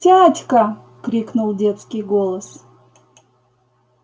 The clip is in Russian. тятька крикнул детский голос